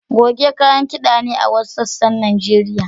Goge kayan kida ne a wasu sassan Najeriya.